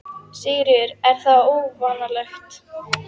Sigríður: Er það óvanalegt?